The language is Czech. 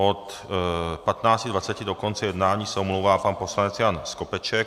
Od 15.20 do konce jednání se omlouvá pan poslanec Jan Skopeček.